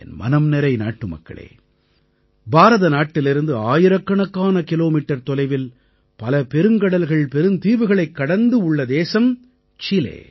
என் மனம்நிறை நாட்டுமக்களே பாரத நாட்டிலிருந்து ஆயிரக்கணக்கான கிலோமீட்டர் தொலைவில் பல பெருங்கடல்கள் பெருந்தீவுகளைக் கடந்து உள்ள தேசம் சிலே